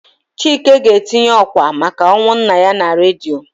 Chike ga-etinye ọ́kwà maka ọnwụ nna ya na redio.